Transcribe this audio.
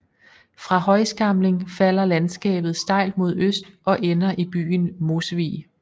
Fra Højskamling falder landskabet stejlt mod øst og ender i vigen Mosvig